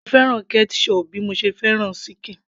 mo fẹ́ràn ketchup bí mo ṣe fẹ́ràn ṣíkìn